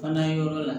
Fana yɔrɔ la